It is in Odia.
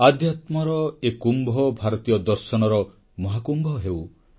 ଆଧ୍ୟାତ୍ମର ଏ କୁମ୍ଭ ଭାରତୀୟ ଦର୍ଶନର ମହାକୁମ୍ଭ ହେଉ